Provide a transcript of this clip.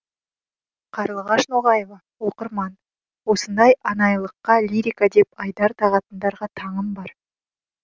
қарлығаш ноғаева оқырман осындай анайылыққа лирика деп айдар тағатындарға таңым бар